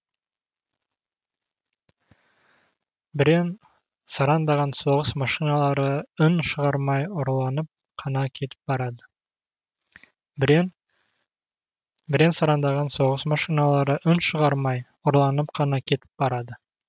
бірен сараңдаған соғыс машиналары үн шығармай ұрланып қана кетіп барады